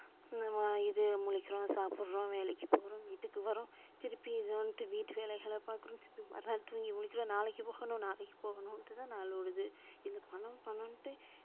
நம்ம இது முழிக்கிறோம் சாப்ட்றோம் வேலைக்கு போறோம் வீட்டுக்கு வரோம் திருப்பி வந்துட்டு வீட்டு வேலைகள பாக்குறோம் திருப்பி மறுநாள் தூங்கி முழிக்கிறோம் நாளைக்கு போகணும் நாளைக்கு போகணும்னுட்டு தான் நாள் ஓடுது. இந்த பணம் பணம்னுட்டு